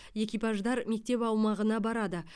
экипаждар мектеп аумағына барады